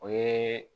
O ye